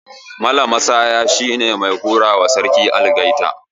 Mala Massaya shine mai hurawa Sarki Algaita